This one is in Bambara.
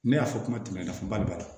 Ne y'a fɔ kuma tɛmɛnen na ba b'a la